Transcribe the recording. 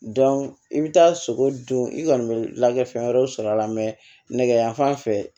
i bɛ taa sogo don i kɔni bɛ lakɛ fɛn wɛrɛw sɔrɔ a la nɛgɛ yanfan fɛ